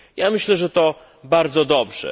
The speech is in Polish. Myślę, że to bardzo dobrze.